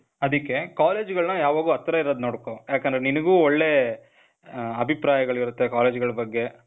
ಅದಕ್ಕೇ, ಕಾಲೇಜ್ಗಳನ್ನ ಯಾವಾಗು ಹತ್ರ ಇರೋದ್ ನೋಡ್ಕೊ. ಯಾಕಂದ್ರೆ ನಿನಿಗೂ ಒಳ್ಳೇ ,ಹ, ಅಭಿಪ್ರಾಯಗಳಿರತ್ತೆ ಕಾಲೇಜ್ ಗಳ ಬಗ್ಗೆ.